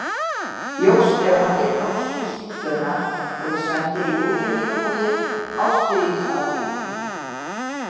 Ljóst er að margir norskir sígaunar voru sendir í útrýmingabúðir á stríðsárunum.